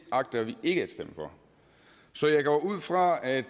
agter vi ikke at stemme for så jeg går ud fra at